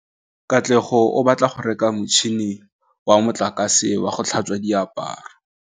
Katlego o batla go reka motšhine wa motlakase wa go tlhatswa diaparo.